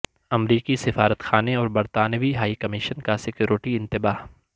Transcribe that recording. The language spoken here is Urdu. امریکی سفارت خانے اور برطانوی ہائی کمیشن کا سکیورٹی انتباہ